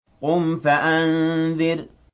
قُمْ فَأَنذِرْ